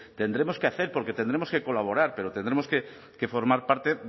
tendremos que hacer porque tendremos que colaborar pero tendremos que formar parte